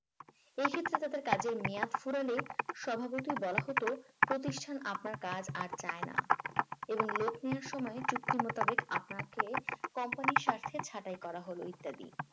এক্ষেত্রে তাদের কাজের মেয়াদ ফুরালে সম্ভবত তাদের বলা হতো প্রতিষ্ঠান আপনার কাজ আর চায় না এবং লোক নেওয়ার সময় চুক্তি মোতাবেক আপনাকে company এর স্বার্থে ছাটাই করা হলো ইত্যাদি